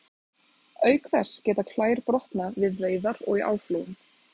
Auk þess geta klær brotnað við veiðar og í áflogum.